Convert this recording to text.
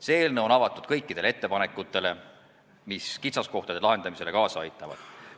See eelnõu on avatud kõikidele ettepanekutele, mis kitsaskohtade kaotamisele kaasa aitavad.